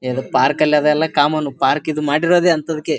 A ಅದು park ಅಲಿ ಅದೆಲ್ಲ ಕಾಮನ್ ಪಾರ್ಕ್ ಇದು ಮಾಡಿರೋದೇ ಅಂತದಕೆ .